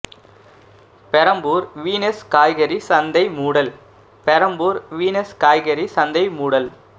Perambur Venus காய்கறி சந்தை மூடல் பெரம்பூர் வீனஸ் காய்கறி சந்தை மூடல்